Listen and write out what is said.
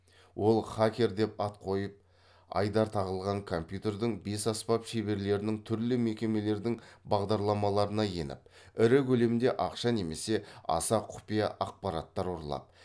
ол хакер деп ат қойып айдар тағылған компьютердің бес аспап шеберлерінің түрлі мекемелердің бағдарламаларына еніп ірі көлемде ақша немесе аса құпия ақпараттар ұрлап